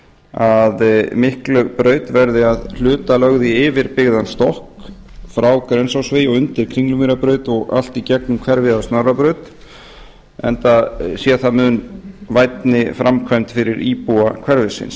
að miklabraut verði að hluta lögð í yfirbyggðan stokk frá grensásvegi og undir kringlumýrarbraut og allt í gegnum hverfið að snorrabraut enda sé það mun vænni framkvæmd fyrir íbúa hverfisins